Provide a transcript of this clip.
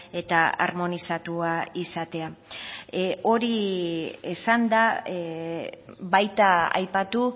eta harmonizatua izatea hori esanda baita aipatu